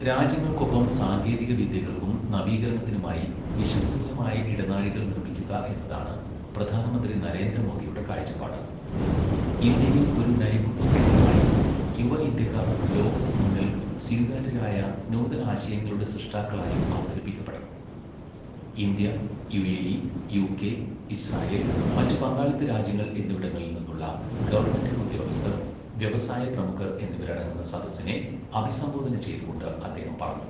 രാജ്യങ്ങൾക്കൊപ്പം സാങ്കേതികവിദ്യകൾക്കും നവീകരണത്തിനുമായി വിശ്വസനീയമായ ഇടനാഴികൾ നിർമ്മിക്കുക എന്നതാണ് പ്രധാനമന്ത്രി നരേന്ദ്ര മോദിയുടെ കാഴ്ചപ്പാട്. ഇന്ത്യയെ ഒരു നൈപുണ്യ കേന്ദ്രമായും യുവ ഇന്ത്യക്കാർ ലോകത്തിന് മുന്നിൽ സ്വീകാര്യരായ നൂതനാശയങ്ങളുടെ സൃഷ്ടാക്കളായും അവതരിപ്പിക്കപ്പെടണം. ഇന്ത്യ, യുഎഇ, യുകെ, ഇസ്രായേൽ, മറ്റ് പങ്കാളിത്ത രാജ്യങ്ങൾ എന്നിവിടങ്ങളിൽ നിന്നുള്ള ഗവണ്മെന്റ് ഉദ്യോഗസ്ഥർ , വ്യവസായ പ്രമുഖർ എന്നിവരടങ്ങുന്ന സദസ്സിനെ അഭിസംബോധന ചെയ്തുകൊണ്ട് അദ്ദേഹം പറഞ്ഞു.